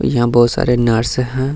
यहाँ बहुत सारे नर्स है।